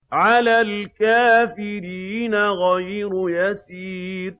عَلَى الْكَافِرِينَ غَيْرُ يَسِيرٍ